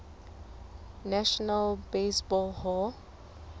national baseball hall